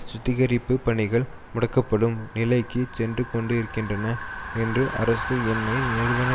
சுத்திகரிப்புப் பணிகள் முடக்கப்படும் நிலைக்கு சென்றுகொண்டிருக்கின்றன என்று அரசு எண்ணெய் நிறுவன